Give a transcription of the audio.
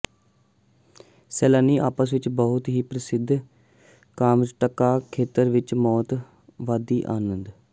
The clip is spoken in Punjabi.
ਸੈਲਾਨੀ ਆਪਸ ਵਿੱਚ ਬਹੁਤ ਹੀ ਪ੍ਰਸਿੱਧ ਕਾਮਚਟਕਾ ਖੇਤਰ ਵਿਚ ਮੌਤ ਵਾਦੀ ਦਾ ਆਨੰਦ